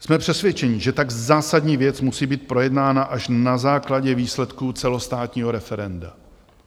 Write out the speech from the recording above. Jsme přesvědčeni, že tak zásadní věc musí být projednána až na základě výsledků celostátního referenda.